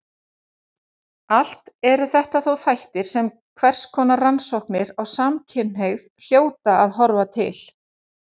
Allt eru þetta þó þættir sem hverskonar rannsóknir á samkynhneigð hljóta að horfa til.